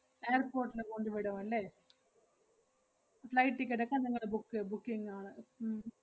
airport ല് കൊണ്ടുവിടും അല്ലേ? flight ticket അപ്പ നിങ്ങള് book~ booking ആണ് ഉം